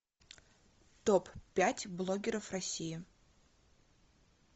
топ пять блогеров россии